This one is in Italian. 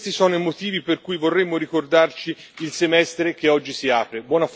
Questi sono i motivi per cui vorremmo ricordarci il semestre che oggi si apre.